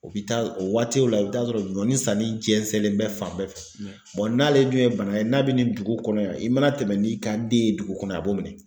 O bɛ taa o waatiw la i bɛ taa sɔrɔ ɲɔnin sanni jɛnsɛnlen bɛ fan bɛɛ fɛ n'ale dun ye bana ye n'a bɛ nin dugu kɔnɔ yan i mana tɛmɛ n'i ka den ye dugu kɔnɔ a b'o minɛ